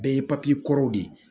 Bɛɛ ye kɔrɔ de ye